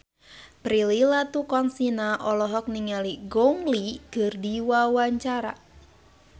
Prilly Latuconsina olohok ningali Gong Li keur diwawancara